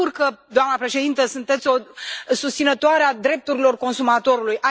Mă bucur că, doamnă președintă, sunteți o susținătoare a drepturilor consumatorului.